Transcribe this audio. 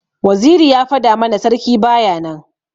Waziri ya fada mana sarki baya nan.